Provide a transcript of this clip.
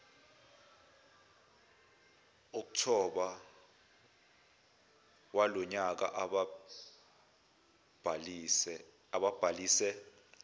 okthobha walonyaka ababhalise